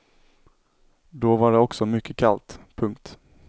Då var det också mycket kallt. punkt